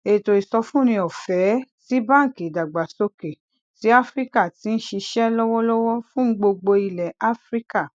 ètò ìsọfúnni ọfẹẹ ti banki idagbasoke ti afirika ti n ṣiṣẹ lọwọlọwọ fun gbogbo ilẹ afirika